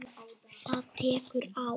Það tekur ár.